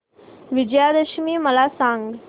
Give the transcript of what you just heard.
विजयादशमी मला सांग